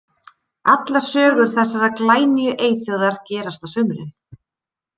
Allar sögur þessarar glænýju eyþjóðar gerast á sumrin.